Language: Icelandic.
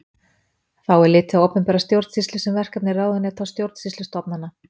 Þá er litið á opinbera stjórnsýslu sem verkefni ráðuneyta og stjórnsýslustofnana.